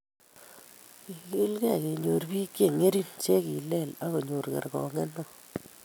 "Kegiligei kenyoru biik che ng'ering che kileel akonyor kergoong'et neoo.